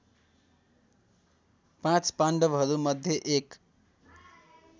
पाँच पाण्डवहरूमध्ये एक